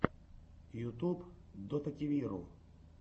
ютьюб дотативиру